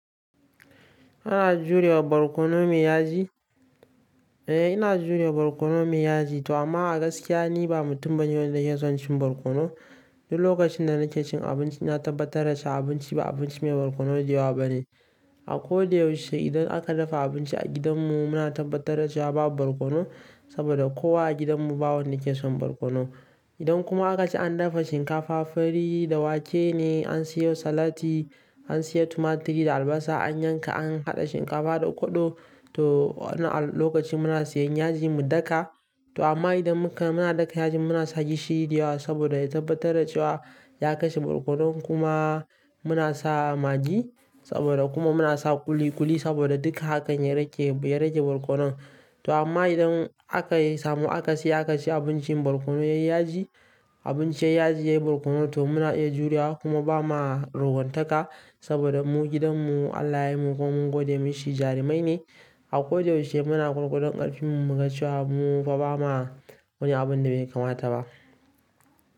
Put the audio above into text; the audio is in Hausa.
Kana jurewa barkono mai yaji? Eh ina juriya barkono mai yaji toh amma a gaskiya ni ba mutum bane wanda ya son cin barkono. Duk lokacin da nake cin abinci na tabbatar da cewa abinci ba abinci mai barkono da yawa bane. A ko da yaushe idan aka dafa abinci a gidanmu muna tabbatar da cewa babu barkono saboda kowa a gidanmu ba wanda yake son barkono. Idan kuma aka ce an dafa shinkafa, fari da wake ne, an siyo salati, an siya tumaturi da albasa, an yanka an haɗa shinkafa da ƙodo. To wannan lokaci muna siyan yaji mu daka. To amma idan muka muna daka yaji muna sake shi da yawa saboda ya tabbatar da cewa ya kashe barkonon kuma muna sa magi saboda kuma muna sa kuli-kuli saboda duka hakan ya rage barkono. To amma idan aka samu aka siya aka ci abincin barkono yai yaji, abinci yayi yaji yayi barkono to muna iya juriya kuma ba ma ruguntaka saboda mu gidanmu, alla yayi mu kuma mun gode masa jarumai ne. A ko da yaushe muna gwargwadon ƙarfinmu mu ga cewa mu fa ba ma wani abun da bai kamata ba.